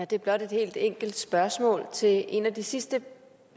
det er blot et helt enkelt spørgsmål til en af de sidste